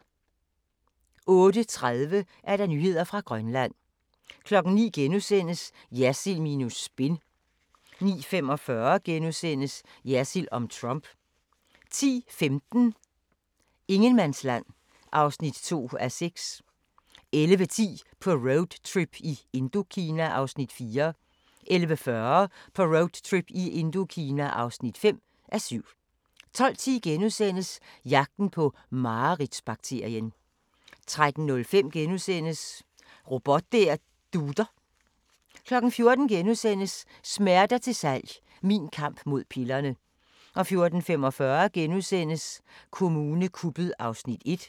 08:30: Nyheder fra Grønland 09:00: Jersild minus spin * 09:45: Jersild om Trump * 10:15: Ingenmandsland (2:6) 11:10: På roadtrip i Indokina (4:7) 11:40: På roadtrip i Indokina (5:7) 12:10: Jagten på mareridts-bakterien * 13:05: Robot der dutter * 14:00: Smerter til salg – min kamp mod pillerne * 14:45: Kommune kuppet (1:2)*